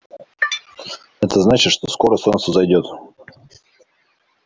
это значит что скоро солнце взойдёт